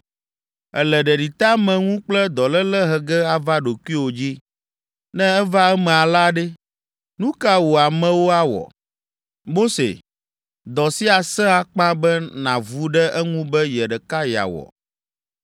Èle ɖeɖiteameŋu kple dɔléle he ge ava ɖokuiwò dzi. Ne eva eme alea ɖe, nu kae wò amewo awɔ? Mose, dɔ sia sẽ akpa be nàvu ɖe eŋu be ye ɖeka yeawɔ.